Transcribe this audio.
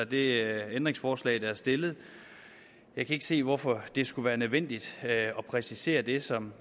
det ændringsforslag der er stillet jeg kan ikke se hvorfor det skulle være nødvendigt at præcisere det som